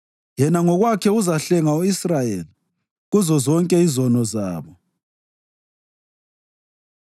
Yena ngokwakhe uzahlenga u-Israyeli kuzozonke izono zabo.